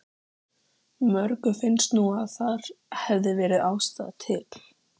Mörgum finnst nú að þar hefði verið ástæða til.